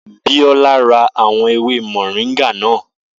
Biola ra àwọn ewé mọ̀ríńgà náà